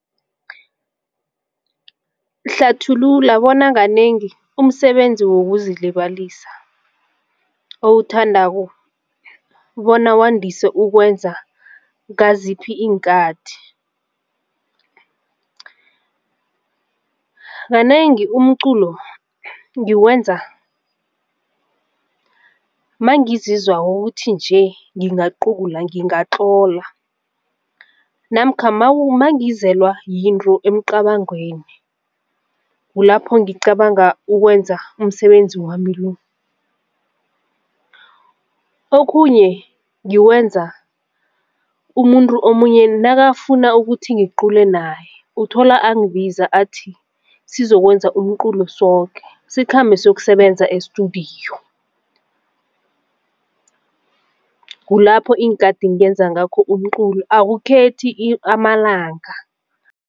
Hlathulula bona kanengi umsebenzi wokuzilibalisa owuthandako bona wandise ukwenza ngaziphi iinkathi? Kanengi umculo ngiwenza mangizizwako ukukuthi nje nginga cula ngingatlola namkha mangizelwa yinto emcabangwami kulapho ngicabanga ukwenza umsebenzi wami lo. Okhunye ngikwenza umuntu omunye nakafuna ukuthi ngicule naye uthola angibiza athi sizokwenza umculo soke sikhambe siyokusebenza e-studio. Kulapho iinkathi ngiyenza ngakho umculo akukhethi amalanga.